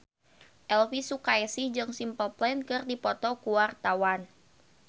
Elvy Sukaesih jeung Simple Plan keur dipoto ku wartawan